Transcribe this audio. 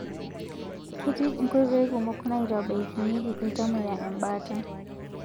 Keetii inkoitoi kumok naitabaikinyieki ltamoyia embaata